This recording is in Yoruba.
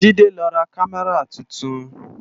Jide lò rá Kàmárá tútún